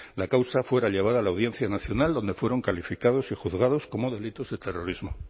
la causa fuera llevada a la audiencia nacional donde fueron calificados y juzgados como delitos de terrorismo